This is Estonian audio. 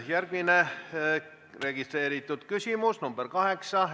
Järgmine registreeritud küsimus on nr 8.